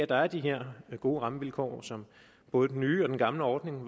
der er de her gode rammevilkår som både den nye og gamle ordning